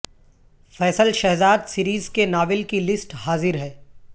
Faisal Shahzad series کے novel کی list حاضر ہے